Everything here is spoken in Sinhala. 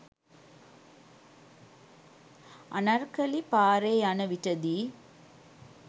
අනර්කලී පාරේ යනවිටදී